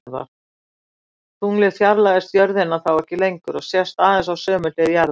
Tunglið fjarlægist jörðina þá ekki lengur og sést aðeins á sömu hlið jarðar.